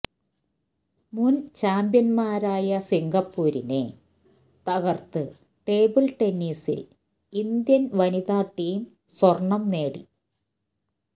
മുൻ ചാംപ്യന്മാരായ സിങ്കപ്പൂരിനെ തകർത്ത് ടേബിൾ ടെന്നിസിൽ ഇന്ത്യൻ വനിത ടീം സ്വർണ്ണം നേടി